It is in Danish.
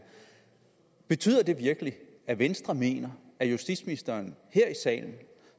betyder det virkelig at venstre mener at justitsministeren her i salen